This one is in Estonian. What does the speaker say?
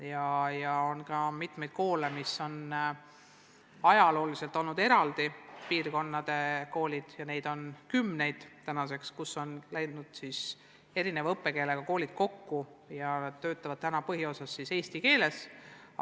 Meil on mitmeid teisi piirkondi, kus on ajalooliselt olnud eraldi koolid, ja nüüdseks on kümned erineva õppekeelega koolid kokku läinud ja töötavad põhiosas eesti keeles.